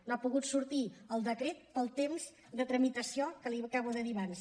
no ha pogut sortir el decret per al temps de tramitació que li acabo de dir abans